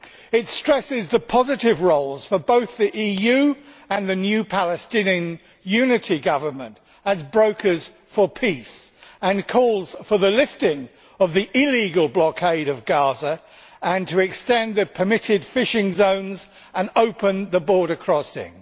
It stresses the positive roles for both the EU and the new Palestinian unity government as brokers for peace and calls for the lifting of the illegal blockade of Gaza, extension of the permitted fishing zones and opening of the border crossing.